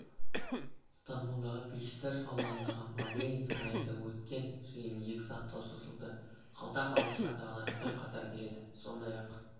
ыстамбулдағы бешикташ ауданындағы мабейн сарайында өткен жиын екі сағатқа созылды қалта қағушылар дағдарыспен қатар келеді сондай